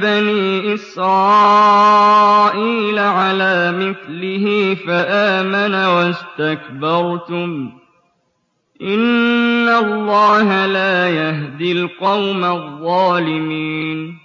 بَنِي إِسْرَائِيلَ عَلَىٰ مِثْلِهِ فَآمَنَ وَاسْتَكْبَرْتُمْ ۖ إِنَّ اللَّهَ لَا يَهْدِي الْقَوْمَ الظَّالِمِينَ